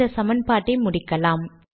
இந்த சமன்பாட்டை முடிக்கலாம்